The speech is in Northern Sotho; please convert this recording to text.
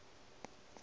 be wa ya le ge